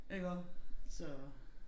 Iggå så